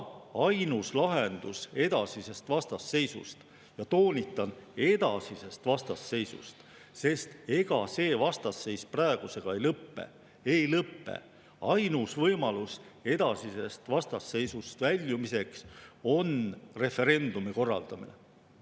Ainus lahendus edasisest vastasseisust – toonitan: edasisest vastasseisust, sest ega see vastasseis praegusega ei lõpe – väljumiseks on referendumi korraldamine.